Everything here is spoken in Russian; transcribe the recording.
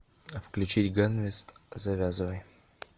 включить ганвест завязывай